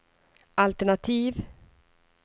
altenativ